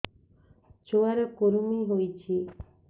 ଛୁଆ ର କୁରୁମି ହୋଇଛି